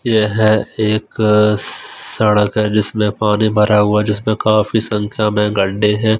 यह एक स सड़क है जिसमें पानी भरा हुआ जिसमें काफी संख्या में गड्ढे हैं।